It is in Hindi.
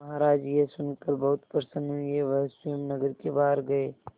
महाराज यह सुनकर बहुत प्रसन्न हुए वह स्वयं नगर के बाहर गए